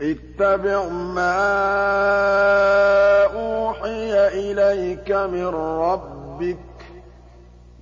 اتَّبِعْ مَا أُوحِيَ إِلَيْكَ مِن رَّبِّكَ ۖ